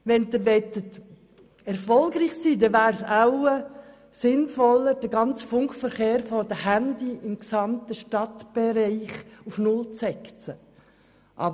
Wenn Sie erfolgreich sein möchten, wäre es wohl sinnvoller, den Funkverkehr für Handys auf dem ganzen Stadtgebiet auf Null zu setzen.